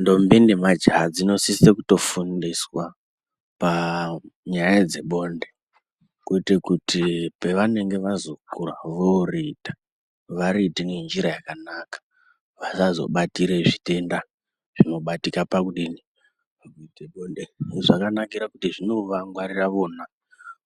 Ndombi nemajaha dzinosise kutofundiswa panyaya dzebonde kuite kuti pavanenge vazokura voriita variite njira yakanaka vasazobatire zvitenda zvinobatika pakudinin, pakuite bonde zvakanakira kuti zvinovangwarira vona